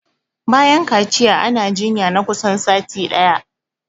Bayan kaciya ana jinya na kusan sati ɗaya